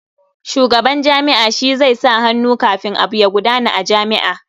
Shugaban jami'a shi zai sa hannu kafin abu ya gudana a jami'a.